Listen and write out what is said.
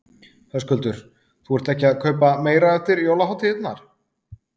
Höskuldur: Þú ert ekki að kaupa meira eftir jólahátíðirnar?